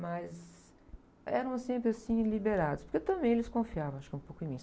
Mas eram sempre assim liberados, porque também eles confiavam, acho que um pouco em mim.